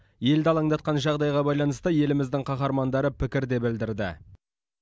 елді алаңдатқан жағдайға байланысты еліміздің қаһармандары пікір де білдірді